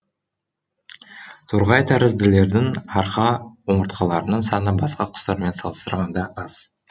торғайтәрізділердің арқа омыртқаларының саны басқа құстармен салыстырғанда аз